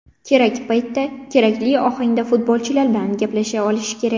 Kerak paytda, kerakli ohangda futbolchilar bilan gaplasha olish kerak.